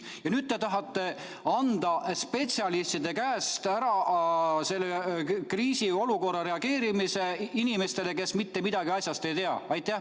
" Ja nüüd te tahate anda spetsialistide käest kriisiolukorra reguleerimise üle inimestele, kes mitte midagi asjast ei tea.